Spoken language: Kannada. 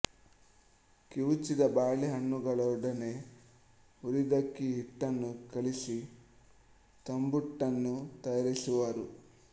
ಕಿವುಚಿದ ಬಾಳೆ ಹಣ್ಣುಗಳೊಡನೆ ಹುರಿದಕ್ಕಿ ಹಿಟ್ಟನ್ನು ಕಲಸಿ ತಂಬುಟ್ಟನ್ನು ತಯಾರಿಸುವರು